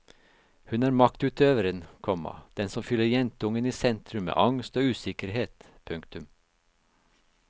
Hun er maktutøveren, komma den som fyller jentungen i sentrum med angst og usikkerhet. punktum